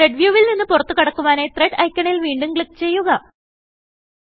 thread view വിൽ നിന്ന് പുറത്തു കടക്കുവാനായി Threadഐക്കണിൽ വീണ്ടും ക്ലിക്ക് ചെയ്യുക